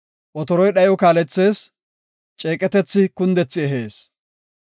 Otoroy dhayo kaalethees; ceeqetethi kundethi ehees.